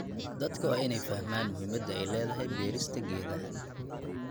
Dadka waa in ay fahmaan muhiimadda ay leedahay beerista geedaha.